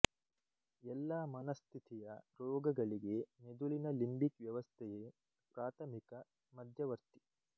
ಎಲ್ಲಾ ಮನಸ್ಥಿತಿಯ ರೋಗಗಳಿಗೆ ಮೆದುಳಿನ ಲಿಂಬಿಕ್ ವ್ಯವಸ್ಥೆಯೆ ಪ್ರಾಥಮಿಕ ಮಧ್ಯವರ್ತಿ